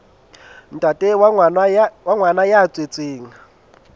ntate wa ngwana ya tswetsweng